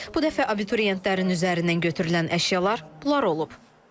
Bu dəfə abituriyentlərin üzərindən götürülən əşyalar bunlar olub.